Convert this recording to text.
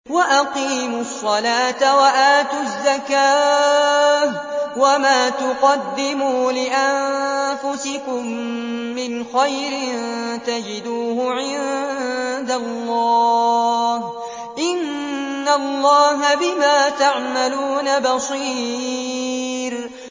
وَأَقِيمُوا الصَّلَاةَ وَآتُوا الزَّكَاةَ ۚ وَمَا تُقَدِّمُوا لِأَنفُسِكُم مِّنْ خَيْرٍ تَجِدُوهُ عِندَ اللَّهِ ۗ إِنَّ اللَّهَ بِمَا تَعْمَلُونَ بَصِيرٌ